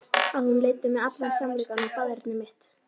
Að hún leiddi mig í allan sannleikann um faðerni mitt.